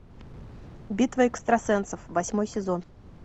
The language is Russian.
битва экстрасенсов восьмой сезон